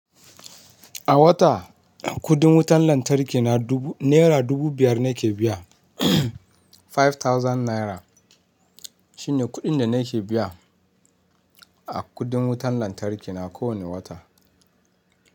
A wata kudin wutan lantarki na dubu naira dubu biyar nake biya. Five thousand naira shine kuɗin da nake biya a kuɗin wutar lantarki na kowane wata.